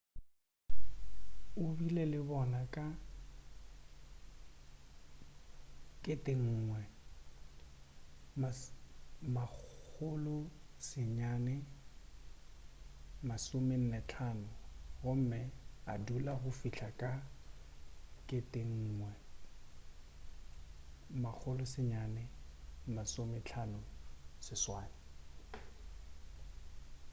o bile le bona ka 1945 gomme a dula go fihla ka 1958